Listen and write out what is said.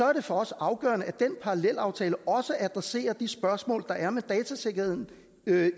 er det for os afgørende at den parallelaftale også adresserer de spørgsmål der er med datasikkerheden